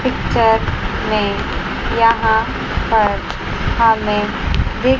picture में यहां पर हमें दि--